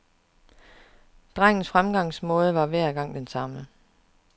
Drengens fremgangsmåde var hver gang den samme.